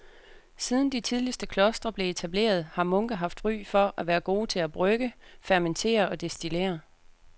Siden de tidligste klostre blev etableret har munke haft ry for at være gode til at brygge, fermentere og destillere.